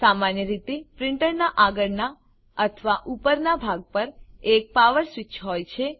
સામાન્ય રીતે પ્રીંટરનાં આગળનાં અથવા ઉપરનાં ભાગ પર એક પાવર સ્વીચ હોય છે